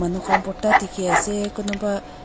manu khan bhorta dikhiase kunuba.